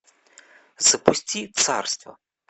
запусти царство